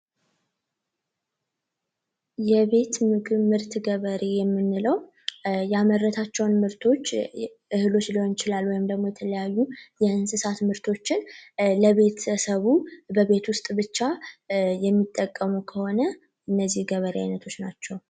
የቤት ምግብ ምርት ገበሬ የምንለው መመረታቸውን ምርቶች እህሎች ሊሆን ይችላሉ ወይም ደግሞ የተለያዩ የእንስሳት ምርቶችን ለቤተሰቡ በቤት ውስጥ ብቻ የሚጠቀሙ ከሆነ እነዚህ የገበሬ አይነቶች ናቸው።